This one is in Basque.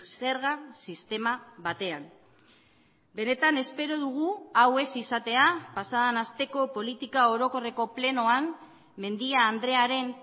zerga sistema batean benetan espero dugu hau ez izatea pasaden asteko politika orokorreko plenoan mendia andrearen